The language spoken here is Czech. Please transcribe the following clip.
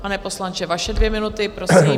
Pane poslanče, vaše dvě minuty, prosím.